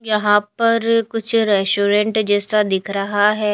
यहां पर कुछ रेस्टोरेंट जैसा दिख रहा है।